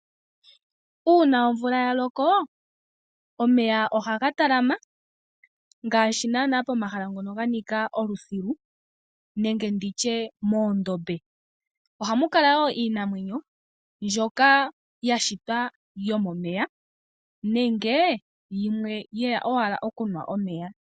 Uuna omvula ya loko omeya ohaga talama ngaashi naanaa pomahala ngono pwa nika olusilu nenge ndi tye moondombe. Ohamu kala wo iinamwenyo mbyoka ya shitwa yomomeya nenge yimwe ye ya owala okunwa omeya.